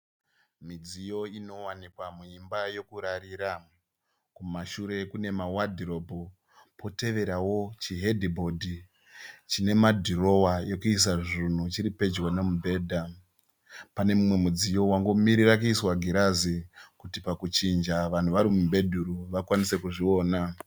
Midziyo inowanikwa muimba yekurarira. Kumashure kune ma wadhirobhu poteverawo chi hedhibhodhi. Chine ma dhirowa ekuisa zvunhu chiripedo nemubhedha. Pane mumwe mudziyo wangomirira kuiswa girazi kuti pakuchinja vanhu vari mubhedhuru vakwanise kuzviona.